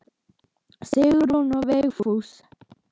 Sigrún og Vigfús.